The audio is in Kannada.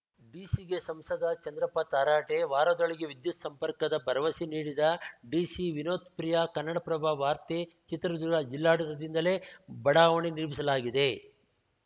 ಡಿಸಿಗೆ ಸಂಸದ ಚಂದ್ರಪ್ಪ ತರಾಟೆ ವಾರದೊಳಗೆ ವಿದ್ಯುತ್‌ ಸಂಪರ್ಕದ ಭರವಸೆ ನೀಡಿದ ಡಿಸಿ ವಿನೋತ್‌ ಪ್ರಿಯಾ ಕನ್ನಡಪ್ರಭ ವಾರ್ತೆ ಚಿತ್ರದುರ್ಗ ಜಿಲ್ಲಾಡಳಿತದಿಂದಲೇ ಬಡಾವಣೆ ನಿರ್ಮಿಸಲಾಗಿದೆ